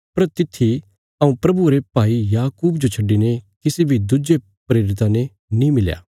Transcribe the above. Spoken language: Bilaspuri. पर तित्थी हऊँ प्रभुये रे भाईये याकूब जो छड्डिने किसी बी दुज्जे प्रेरिता ने नीं मिलया